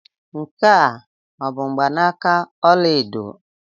Nke a ọ bụ mgbanaka ọla edo?